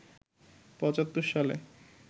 ৭৫ সালে